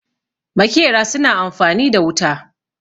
makera suna amfani da wuta